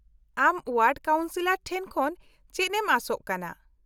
-ᱟᱢ ward councillor ᱴᱷᱮᱱ ᱠᱷᱚᱱ ᱪᱮᱫ ᱮᱢ ᱟᱥᱚᱜ ᱠᱟᱱᱟ ?